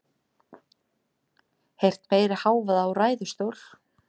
Heyrt meiri hávaða úr ræðustól